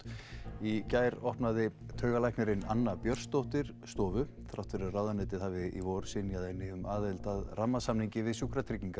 í gær opnaði taugalæknirinn Anna Björnsdóttir stofu þrátt fyrir að ráðuneytið hafi í vor synjað henni um aðild að rammasamningi við Sjúkratryggingar